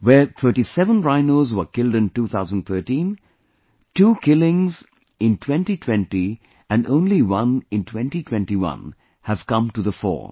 Where 37 rhinos were killed in 2013, 2 killings in 2020 and only 1 in 2021 have come to the fore